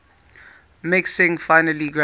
mixing finely ground